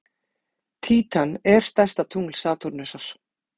Títan er stærsta tungl Satúrnusar.